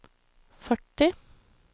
førti